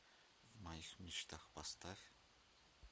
в моих мечтах поставь